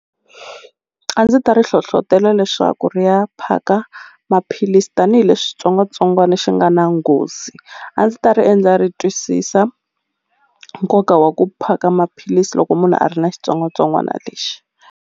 A ndzi ta ri hlohlotela leswaku ri ya phaka maphilisi tanihileswi xitsongwatsongwana xi nga na nghozi a ndzi ta ri endla ri twisisa nkoka wa ku phaka maphilisi loko munhu a ri na xitsongwatsongwana lexi.